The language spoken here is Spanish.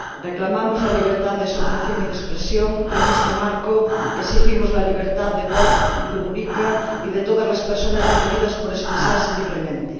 Reclamamos la libertad de asociación y de expresión y, en este marco, exigimos la libertad de Bob Rugurika y de todas las personas detenidas por expresarse libremente.